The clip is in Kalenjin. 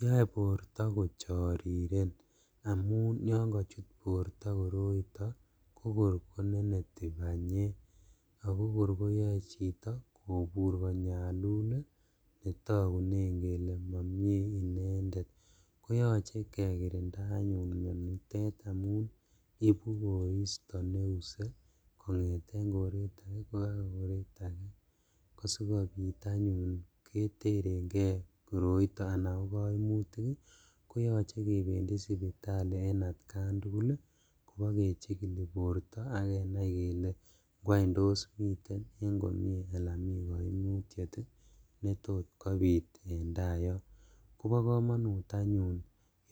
Yoe borto kochoriren amun yon kochut borto koroito kokor koneneti banyek ako kor koyoe chito kobur konyalul ii netokunen kele momie inendet koyoche anyun kekirinda mionitet ibu koristo neuse kongeten koret ake bakai ake kosikobit anyun keterengee koroito anan kokoimutik ii koyoche kebendi sipitali en atkan tugul kobo kechikili borto ak kenai kele ngwany tos miten en komie alan mi koimutiet ii betot kobit en taa yon kobokomonut anyun